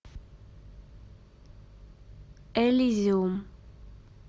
элизиум